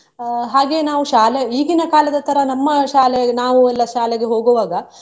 ಅಹ್ ಹಾಗೆ ನಾವು ಶಾಲೆ ಈಗಿನ ಕಾಲದ ತರ ನಮ್ಮ ಶಾಲೆ ನಾವು ಎಲ್ಲ ಶಾಲೆಗೆ ಹೋಗುವಾಗ.